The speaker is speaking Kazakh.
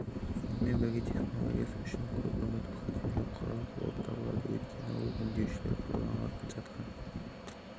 сонымен бірге техналогиясы үшін көп үміт күтерлік құрал болып табылады өйткені ол өңдеушілерге қолданылып жатқан